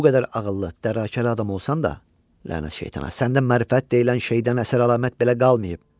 Bu qədər ağıllı, dərakəli adam olsan da, lənət şeytana, səndə mərifət deyilən şeydən əsər-əlamət belə qalmayıb.